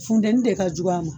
Funteni de ka jugu a ma